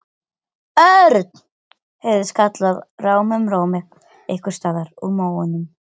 Undirbúningsfundur og stofnfundur renna hér saman.